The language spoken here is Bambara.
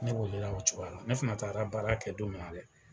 Ne welela o cogoya la ne fana taara baara kɛ don min na dɛ